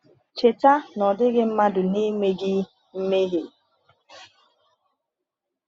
Cheta na ọ dịghị mmadụ na-emeghị mmehie.